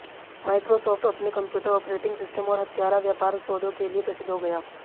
Microsoft अपने computer operating system और हत्यारा व्यापार सौदों के लिए प्रसिद्ध हो गया